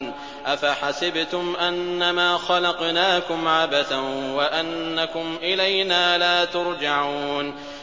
أَفَحَسِبْتُمْ أَنَّمَا خَلَقْنَاكُمْ عَبَثًا وَأَنَّكُمْ إِلَيْنَا لَا تُرْجَعُونَ